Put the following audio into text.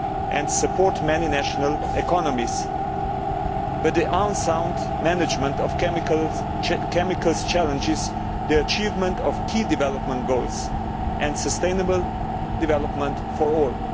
and support many national economies, but the unsound management of chemicals challenges the achievement of key development goals, and sustainable development for all'.